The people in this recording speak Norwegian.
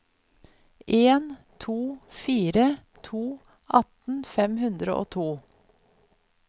en to fire to atten fem hundre og to